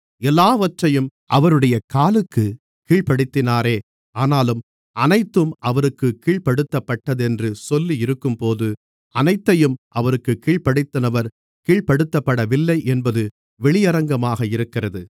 எல்லாவற்றையும் அவருடைய காலுக்குக் கீழ்ப்படுத்தினாரே ஆனாலும் அனைத்தும் அவருக்குக் கீழ்ப்படுத்தப்பட்டதென்று சொல்லியிருக்கும்போது அனைத்தையும் அவருக்குக் கீழ்ப்படுத்தினவர் கீழ்ப்படுத்தப்படவில்லை என்பது வெளியரங்கமாக இருக்கிறது